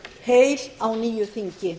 heil á nýju þingi